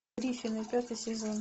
гриффины пятый сезон